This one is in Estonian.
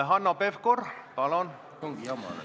Hanno Pevkur, palun!